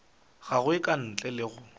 gagwe ka ntle le go